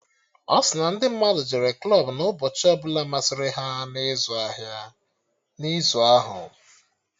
Ọ si na ndị mmadụ jere klọb na ụbọchị ọbụla masịrị ha na izu ahụ